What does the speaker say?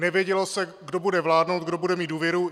Nevědělo se, kdo bude vládnout, kdo bude mít důvěru.